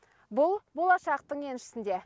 бұл болашақтың еншісінде